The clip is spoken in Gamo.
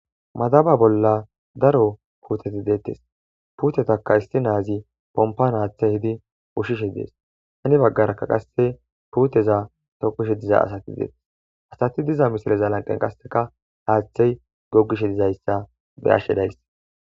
madaba bolla daro puuteti deettes puutetaka isti naazi pompan haaththe hidi ushishe dees hani baggarakka qasse puuteza tokishe diza asati deetes asati diza misileza lanqen qasseka haaththey gogishe dizayssa be ashshe days